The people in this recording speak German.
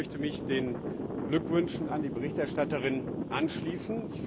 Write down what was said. Auch ich möchte mich den Glückwünschen an die Berichterstatterin anschließen.